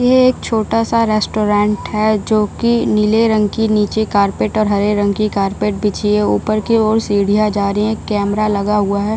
ये एक छोटा सा रेस्टोरेंट है जो की नीले रंग की निचे कारपेट और हरे रंग की कारपेट बिछी है ऊपर की ओर सीढियाँ जा रही है कैमरा लगा हुआ है।